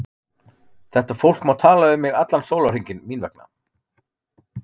Þetta fólk má tala um mig allan sólarhringinn mín vegna.